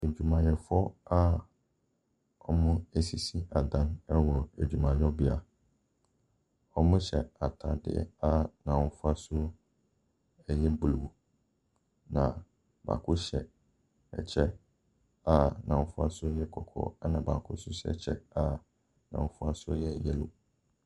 Adwumayɛfoɔ a ɔresisi adan ɛwɔ adwumayɔbea. wɔhyɛ ataadeɛ a n'ahofasoɔ ɛyɛ blue na baako hyɛ ɛkyɛ a n'ahofasoɔ ɛyɛ kɔkɔɔ ɛna baako nso hyɛ ɛkyɛ a n'ahofasoɔ ɛyɛ yellow.